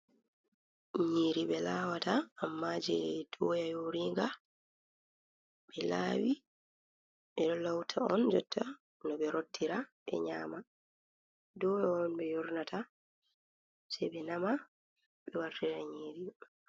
Nyiri ɓe lawata, amma je doya yoringa, ɓe lawi be ɗo lauta on jotta no ɓe rottira ɓe nyama, doya on ɓe yornata sai ɓe nama ɓe wartira nyiri. Ira